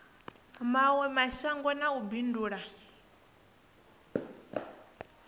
mawe mashango na u bindula